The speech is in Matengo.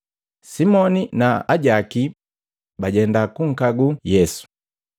Simoni na ajaki bajenda kunkaguu Yesu.